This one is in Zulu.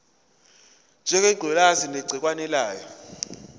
ngengculazi negciwane layo